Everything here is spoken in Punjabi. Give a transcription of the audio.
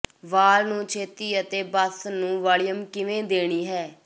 ਵਾਲ ਨੂੰ ਛੇਤੀ ਅਤੇ ਬਸ ਨੂੰ ਵਾਲੀਅਮ ਕਿਵੇਂ ਦੇਣੀ ਹੈ